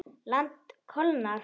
Land kólnar.